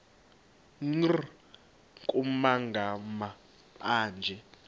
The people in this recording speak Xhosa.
nkr kumagama anje